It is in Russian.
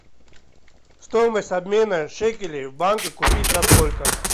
стоимость обмена шекелей в банке купить за сколько